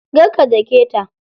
Kar ka daketa.